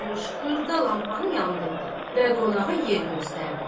qoyulmuş xırda lampanı yandırdı və qonağa yer göstərdi.